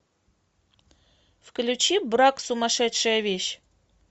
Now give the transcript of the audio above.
включи брак сумасшедшая вещь